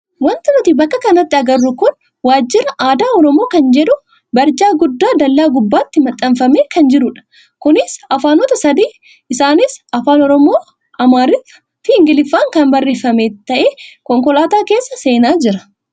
Wanti nuti bakka kanatti agarru kun waajjira aadaa oromoo kan jedhu barjaa guddaa dallaa gubbaatti maxxanfamee kan jirudha. Kunis afaanota sadii isaanis Afaan oromoo, Amaariffaa fi ingiliffaan kan barreeffame ta'ee konkolaataan keessa seenaa jira.